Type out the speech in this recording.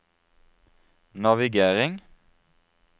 navigering